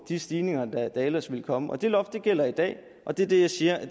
de stigninger der ellers ville komme det loft gælder i dag og det er det jeg siger